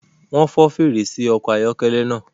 Wọn fọ fèrèsé ọkọ ayọkẹlẹ náà